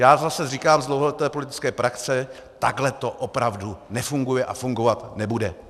Já zase říkám z dlouholeté politické praxe, takhle to opravdu nefunguje a fungovat nebude.